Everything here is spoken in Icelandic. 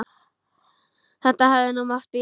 Þetta hefði nú mátt bíða.